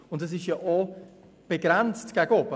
Die Kostenübernahme ist auch gegen oben begrenzt.